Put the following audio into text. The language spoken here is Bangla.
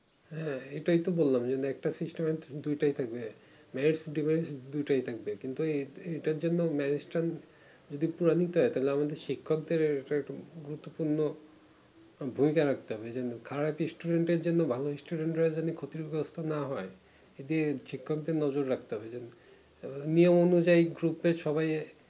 ভুইলা ঠকতে হবে মানে যেমন খারাপ student এর জন্য ভালো student এর জন্য ক্ষতি বরাত না হয় এতে শিক্ষক দেড় নজর রাখতে হবে নিয়ম অনুযায়ী group এই